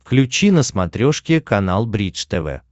включи на смотрешке канал бридж тв